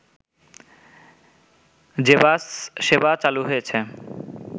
যে বাস সেবা চালু হয়েছে